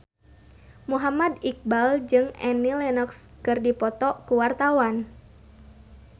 Muhammad Iqbal jeung Annie Lenox keur dipoto ku wartawan